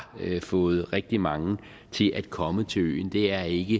fået rigtig mange til at komme til øen det er ikke